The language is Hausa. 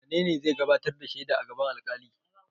Wane ne zai gabatar da shaida a gaban alƙali?